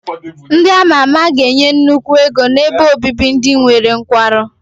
Ndị a ma ama ga-enye nnukwu ego n'ebe obibi ndị nwere nkwarụ.